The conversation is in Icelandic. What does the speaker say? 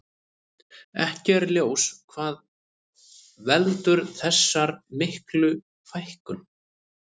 Ekki er ljós hvað veldur þessar miklu fækkun.